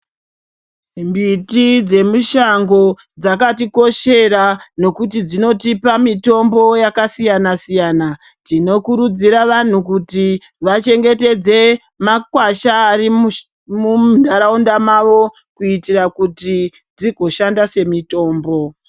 Mbiti dzemishando dzakatikoshera nekuti dzinotipa mitombo yakasiyana siyana tinokurudzira vantu kuti vachengetedze makwasha ari munharaunda mavo kuitira kuti dzigoshanda semitombo.